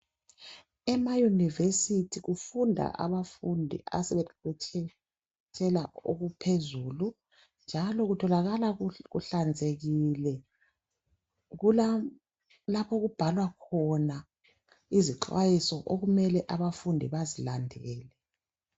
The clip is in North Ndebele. Ema yunivesithi kufunda abafundi asebeqeqetshe okuphezulu njalo kutholakala kuhlanzekile kulalapho okubhalwa khona izicwayiso okumele abafundi bazilandele